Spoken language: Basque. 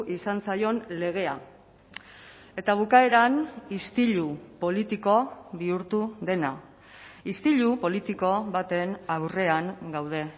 izan zaion legea eta bukaeran istilu politiko bihurtu dena istilu politiko baten aurrean gaude